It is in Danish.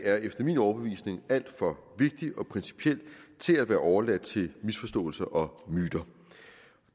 er efter min overbevisning alt for vigtig og principiel til at være overladt til misforståelser og myter